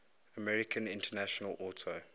american international auto